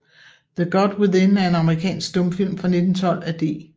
The God Within er en amerikansk stumfilm fra 1912 af D